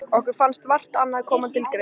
Okkur fannst vart annað koma til greina.